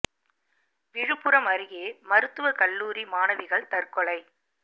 விழுப்புரம் அருகே மருத்துவ கல்லூரி மாணவிகள் தற்கொலை